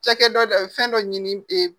Cakɛ dɔ fɛn dɔ ɲini